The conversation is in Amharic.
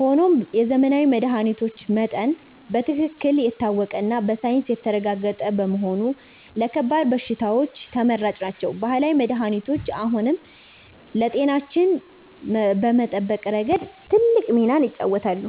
ሆኖም የዘመናዊ መድኃኒቶች መጠን በትክክል የታወቀና በሳይንስ የተረጋገጠ በመሆኑ ለከባድ በሽታዎች ተመራጭ ናቸው። ባህላዊ መድኃኒቶች አሁንም ለጤናችን በመጠበቅ ረገድ ትልቅ ሚናን ይጫወታሉ።